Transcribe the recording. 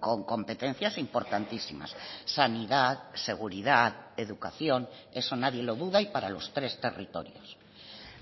con competencias importantísimas sanidad seguridad educación eso nadie lo duda y para los tres territorios